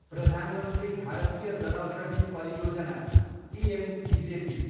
Pradhan Mantri Bharatiya Janaushadhi Pariyojana, PMBJP